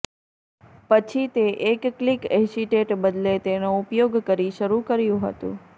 પછી તે એક ક્લિક એસિટેટ બદલે તેનો ઉપયોગ કરી શરૂ કર્યું હતું